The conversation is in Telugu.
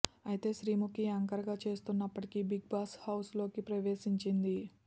అయితే శ్రీముఖి యాంకర్ గా చేస్తున్నప్పటికీ బిగ్ బాస్ హౌస్ లోకి ప్రవేశించింది